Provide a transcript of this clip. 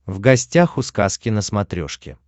в гостях у сказки на смотрешке